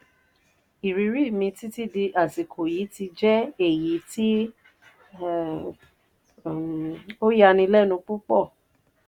ìrírí mi títí di àsìkò yìí ti jẹ́ èyí tí ó yani lẹ́nu púpọ̀.